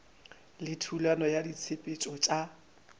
le thulano ya ditshepetšo tša